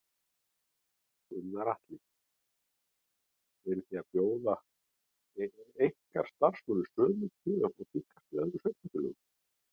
Gunnar Atli: Eru þið að bjóða ykkar starfsmönnum sömu kjör og tíðkast í öðrum sveitarfélögum?